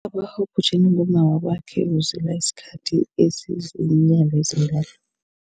Ubaba obhujelwe ngumma wakwakhe uzila isikhathi esiziinyanga ezintathu.